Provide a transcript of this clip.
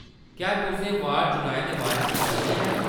क्या तुसें वार्ड चुनाएं दे बारे च सुनेआ ऐ ?